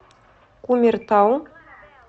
кумертау